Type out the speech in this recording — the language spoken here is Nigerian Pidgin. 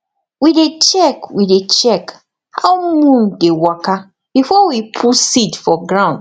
we dey check we dey check how moon dey waka before we put seed for ground